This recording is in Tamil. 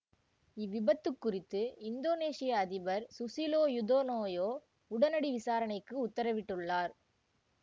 இவ்விபத்துக் குறித்து இந்தோனேசிய அதிபர் சுசிலோ யுதயோனோ உடனடி விசாரணைக்கு உத்தரவிட்டுள்ளார்